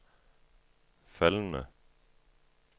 faldende